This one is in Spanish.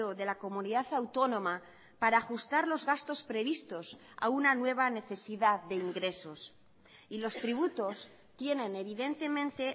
de la comunidad autónoma para ajustar los gastos previstos a una nueva necesidad de ingresos y los tributos tienen evidentemente